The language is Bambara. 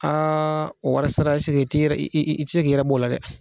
o wari ɛseke i tɛ yɛrɛ i i tɛ se k'i yɛrɛ b'o la dɛ.